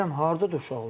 Deyirəm hardadır uşaqlar?